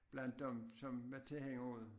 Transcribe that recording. Blandt dem som var tilhængere af det